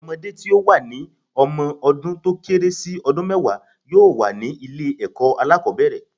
Ọmọdé tí ó wà ní ọmọ dún tó kéré sí ọdún mẹ́wàá yóò wà ní ilé ẹ̀kọ́ alákòbẹ̀rẹ̀.